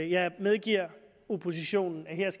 jeg medgiver oppositionen